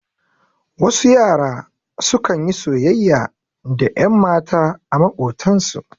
Wasu yara su kan yi soyayya da ƴanmata a maƙotan su.